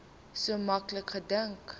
so maklik gedink